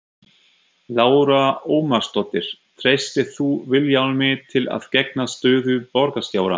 Lára Ómarsdóttir: Treystir þú Vilhjálmi til að gegna stöðu borgarstjóra?